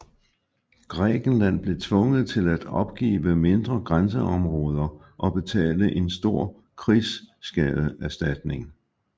Grækenland blev tvunget til at opgive mindre grænseområder og betale en stor krigsskadeserstatning